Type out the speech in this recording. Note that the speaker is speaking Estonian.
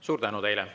Suur tänu teile!